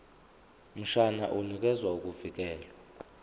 mshwana unikeza ukuvikelwa